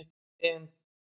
Ben